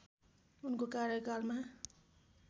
उनको कार्यकालमा